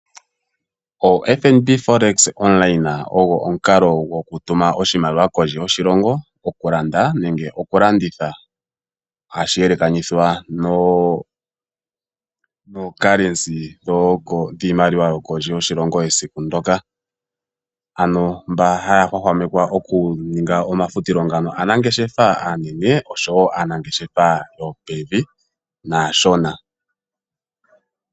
OFNB forex gopamalungula ogo omukalo gokutuma oshimaliwa kondje yoshilongo, okulanda nenge okulanditha. Ohashi yelekanithwa nongushu yiimaliwa yokondje yoshilongo yesiku ndyoka. Mboka haya hwahwamekwa okuninga omafutilo ngaka aanangeshefa aanene, oshowo aanangeshefa yopokati naashona.